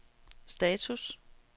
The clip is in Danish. status